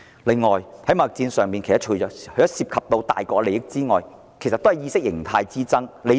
貿易戰除涉及大國利益外，其實也是意識形態之爭。